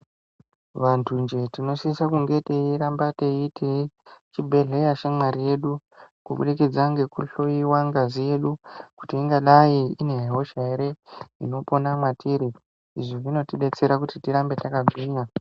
Vantu njee tinosisa kunge teiramba teiite chibhedhlera shamwari yedu kubudikidza ngekuhloiwa ngazi yedu kuti ine hosha ere inopona mwatiri izvi zvinotidetsera kuti tirambe takagwinya.